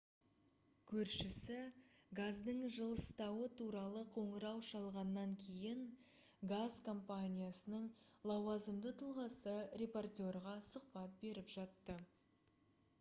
көршісі газдың жылыстауы туралы қоңырау шалғаннан кейін газ компаниясының лауазымды тұлғасы репортерға сұхбат беріп жатты